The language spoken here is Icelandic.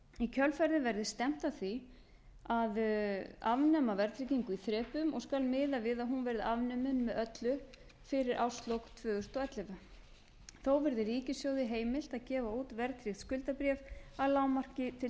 í kjölfarið verði stefnt að því að afnema verðtryggingu í þrepum og skal miðað við að hún verði afnumin með öllu fyrir árslok tvö þúsund og ellefu þó verði ríkissjóði heimilt að gefa út verðtryggð skuldabréf að lágmarki til